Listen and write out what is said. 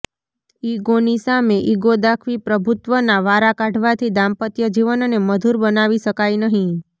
ઈગોની સામે ઈગો દાખવી પ્રભુત્વના વારા કાઢવાથી દાંપત્ય જીવનને મધુર બનાવી શકાય નહીં